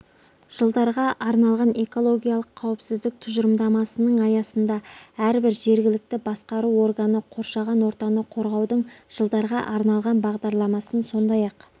жылдарға арналған экологиялық қауіпсіздік тұжырымдамасының аясында әрбір жергілікті басқару органы қоршаған ортаны қорғаудың жылдарға арналған бағдарламасын сондай-ақ